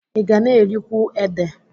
Ị ga na-erikwu ede?